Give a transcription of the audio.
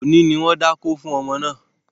Òní ni wọ́n dákó fún ọmọ náà